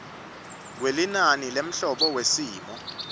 kwelinani lemholo wesimo